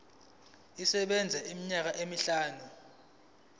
isebenza iminyaka emihlanu